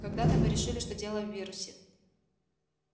когда-то мы решили что дело в вирусе